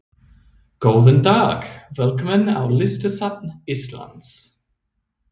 Góðan dag. Velkomin á Listasafn Íslands.